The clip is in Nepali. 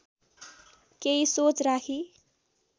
केही सोच राखी